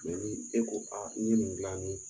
e ko a n ye nin gilan ni